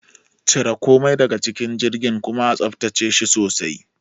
Cire komai daga cikin jirgin kuma a tsaftace shi sosai.